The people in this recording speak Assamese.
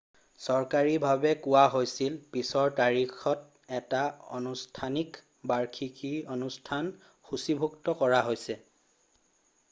চৰকাৰীভাৱে কোৱা হৈছিল পিছৰ তাৰিখত এটাত আনুষ্ঠানিক বাৰ্ষিকী অনুষ্ঠান সূচীভুক্ত কৰা হৈছে